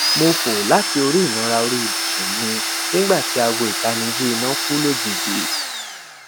mo fò láti orí ìnara orí ibùsun mi nigba ti aago itaniji ina kú lojiji